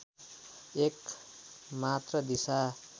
एक मात्र दिशा